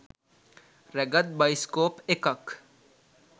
රැගත් බයිස්කෝප් එකක්